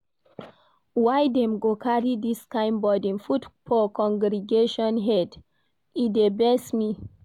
Why dem go carry dis kain burden put for congregation head? E dey vex me.